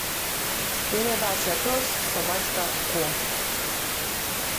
передача пес собачка ко